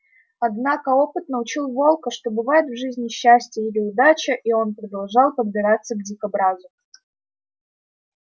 однако опыт научил волка что бывает в жизни счастье или удача и он продолжал подбираться к дикобразу